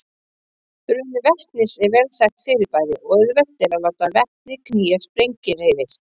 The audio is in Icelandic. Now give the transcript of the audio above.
Bruni vetnis er vel þekkt fyrirbæri og auðvelt er að láta vetni knýja sprengihreyfil.